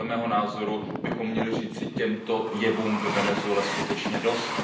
Podle mého názoru bychom měli říci těmto jevům ve Venezuele skutečně dost.